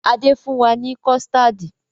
Adé fún wa ni kọ̀stáádì